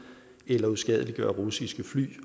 eller uskadeliggøre russiske fly